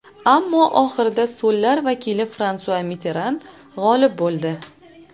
Ammo oxirida so‘llar vakili Fransua Mitteran g‘olib bo‘ldi.